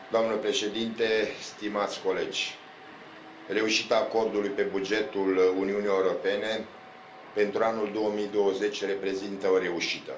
Doamnă Președintă, stimați colegi, reușita acordului pe bugetul Uniunii Europene pentru anul 2020 reprezintă o reușită.